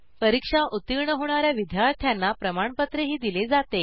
परीक्षा उत्तीर्ण होणा या विद्यार्थ्यांना प्रमाणपत्रही दिले जाते